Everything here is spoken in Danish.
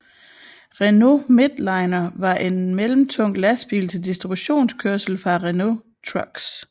Renault Midliner var en mellemtung lastbil til distributionskørsel fra Renault Trucks